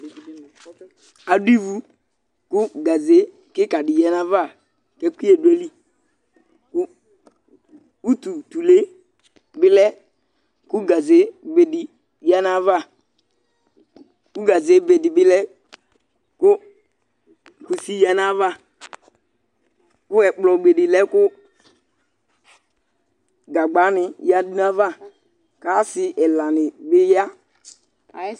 Adʋ ivu kʋ gaze kɩka dɩ yǝ nʋ ayava kʋ ɛkʋyɛ dʋ ayili kʋ ututule bɩ lɛ kʋ gazebe dɩ yǝ nʋ ayava kʋ gazebe dɩ bɩ lɛ kʋ kusi yǝ nʋ ayava kʋ ɛkplɔbe dɩ lɛ kʋ gagbanɩ yǝdu nʋ ayava kʋ asɩ ɛlanɩ bɩ ya